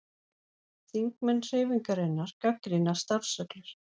Þingmenn Hreyfingarinnar gagnrýna starfsreglur